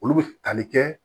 Olu bɛ tali kɛ